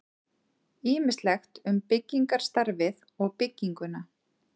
Ýmislegt um byggingarstarfið og bygginguna.